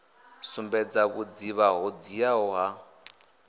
sumbedza vhudzivha ho dziaho ha